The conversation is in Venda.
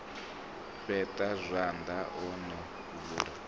fheṱa zwanḓa o no bvula